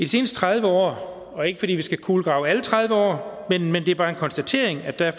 seneste tredive år og ikke fordi vi skal kulegrave alle tredive år men det er bare en konstatering er der